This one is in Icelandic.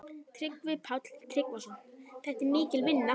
Tryggvi Páll Tryggvason: Þetta er mikil vinna?